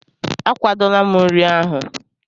Akwadola m nri ahụ.